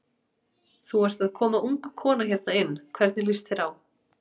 Þú ert að koma ung kona hérna inn, hvernig líst þér á?